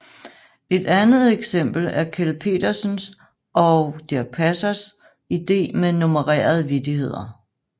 Et andet eksempel er Kjeld Petersen og Dirch Passers idé med nummererede vittigheder